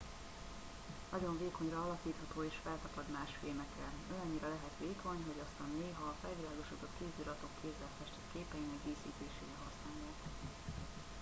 nagyon vékonyra alakítható és feltapad más fémekre olyannyira lehet vékony hogy azt néha a felvilágosodott kéziratok kézzel festett képeinek díszítésére használják